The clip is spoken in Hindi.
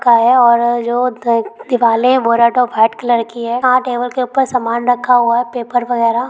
टेबल के ऊपर सामान रखा हुआ है पेपर वगैरा--